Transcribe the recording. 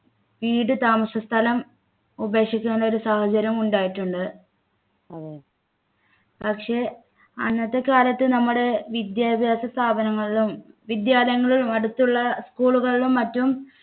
വീട് താമസസ്ഥലം ഉപേക്ഷിക്കാനുള്ള ഒരു സാഹചര്യം ഉണ്ടായിട്ടുണ്ട് പക്ഷേ അന്നത്തെ കാലത്ത് നമ്മുടെ വിദ്യാഭ്യാസ സ്ഥാപനങ്ങളിലും വിദ്യാലയങ്ങളും അടുത്തുള്ള school കളിലും മറ്റും